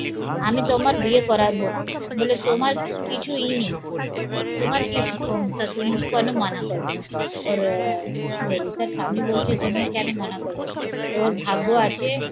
আমি তোমার বিয়ে করাবো না বললো তোমার কিছুই নেই তোমার কি ক্ষমতা তুমি কেন মানা করবে? ওর আহ ললিতার স্বামি বলছে তুমি কেন মানা করবে? ওর ভাগ্য আছে,